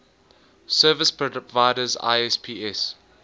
service providers isps